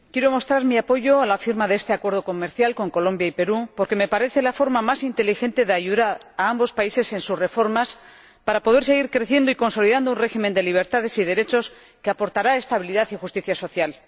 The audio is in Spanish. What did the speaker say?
Señora Presidenta, quiero mostrar mi apoyo a la firma de este Acuerdo comercial entre la UE y Colombia y el Perú porque me parece la forma más inteligente de ayudar a ambos países en sus reformas para poder seguir creciendo y consolidando un régimen de libertades y derechos que aportará estabilidad y justicia social.